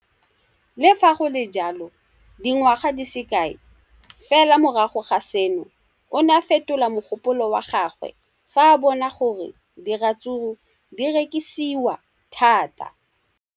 Le fa go le jalo, dingwaga di se kae fela morago ga seno, o ne a fetola mogopolo wa gagwe fa a bona gore diratsuru di rekisiwa thata.